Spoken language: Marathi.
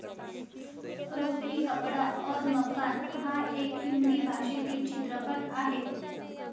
रोटी कपडा और मकान हा एक हिंदी भाषेतील चित्रपट आहे.